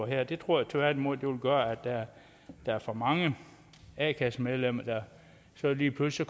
her det tror jeg tværtimod vil gøre at der er for mange a kassemedlemmer der så lige pludselig